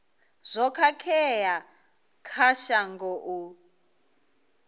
zwo khakhea kha shango u